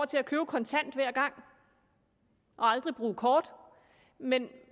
til at købe kontant hver gang og aldrig bruge kort men